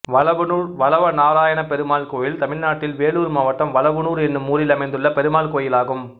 வலவனூர் வலவநாராயணப்பெருமாள் கோயில் தமிழ்நாட்டில் வேலூர் மாவட்டம் வலவனூர் என்னும் ஊரில் அமைந்துள்ள பெருமாள் கோயிலாகும்